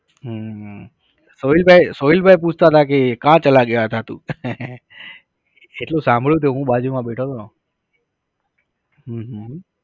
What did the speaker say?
હમ સોહીલભાઈ સોહીલભાઈ પૂછાતા હતા કે कहा चला गया था એટલું સાંભળ્યું તું હું બાજુ માં બેઠો તો. હં હં